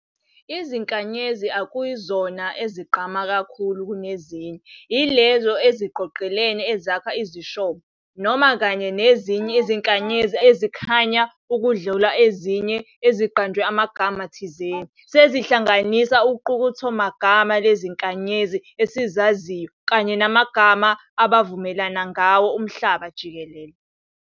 Izinkanyezi ekuyizona ezigqame kakhulu kunezinye ilezo eziqoqelene ezakha iziShomo, noma, kanye nezinye iziNkanyezi ezikhanya ukudlula ezinye eziqanjwe amagama thizeni. sezihlanganise uqukethomagama leziNkanyezi esizaziyo kanye namagama abavumelana ngawo umhlaba jikelele.